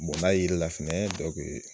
Bon n'a jiri la fɛnɛ dɔ